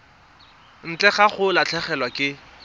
ntle ga go latlhegelwa ke